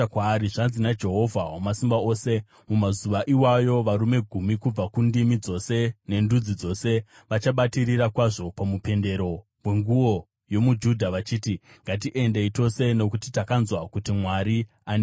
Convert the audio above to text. Zvanzi naJehovha Wamasimba Ose: “Mumazuva iwayo varume gumi kubva kundimi dzose nendudzi dzose vachabatirira kwazvo pamupendero wenguo yomuJudha vachiti, ‘Ngatiendei tose, nokuti takanzwa kuti Mwari anewe.’ ”